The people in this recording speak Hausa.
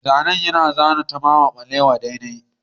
Mai zanen ya zana hoton Tafawa Balewa daidai